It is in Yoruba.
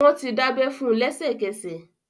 Wọ́n ti dábẹ́ fún lẹ́sẹ̀kẹsẹ̀